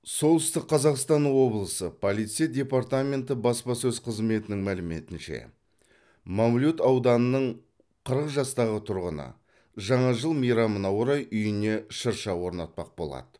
солтүстік қазақстан облысы полиция департаменті баспасөз қызметінің мәліметінше мамлют ауданының қырық жастағы тұрғыны жаңа жыл мейрамына орай үйіне шырша орнатпақ болады